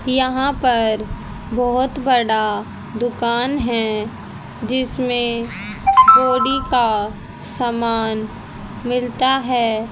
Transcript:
यहां पर बहुत बड़ा दुकान है जिसमें पौड़ी का सामान मिलता है।